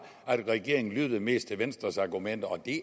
at regeringen lyttede mest til venstres argumenter og det